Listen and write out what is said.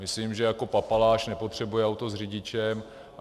Myslím, že jako papaláš nepotřebuje auto s řidičem.